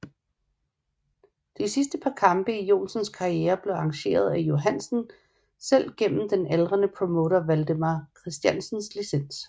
De sidste par kampe i Johansens karriere blev arrangeret af Johansen selv gennem den aldrende promotor Valdemar Christiansens licens